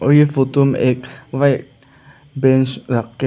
और यह फोटो में व्हाइट पिंक रख के हैं।